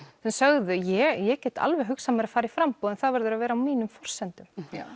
sem sögðu ég get alveg hugsað mér að fara í framboð en það verður þá að vera á mínum forsendum